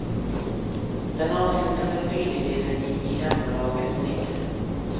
Den avslutande tredjedelen gick i hemmalagets tecken.